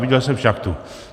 Viděl jsem šachtu.